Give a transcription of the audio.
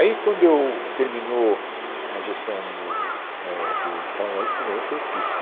Aí, quando eu terminou a gestão do eh do Paulo Maluf, quem ganhou foi o Pita.